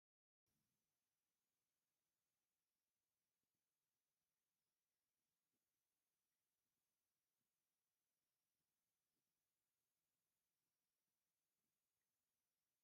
ህፃውንቲ ተምሃሮ ኣብ ክፍሎም ብጣዕሚ ብዝተመላከዐ ብዙሓት ሰሓብቲ ዝኾኑ መጋየፅታትን መምሀርትን ዝኾኑ ስእልታት ኣለውዎ ኣብቲ ክላስ ዘለዉ ተምሃሮ በዝሖም ክንደይ?